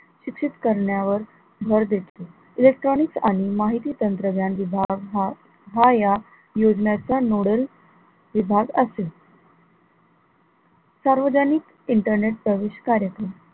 शिक्षित करण्यावर भर देते, electronics आणि माहिती तंत्रज्ञान विभाग हा, हा या योजनांचा noodle विभाग असेल, सार्वजनिक internet service कार्यक्रम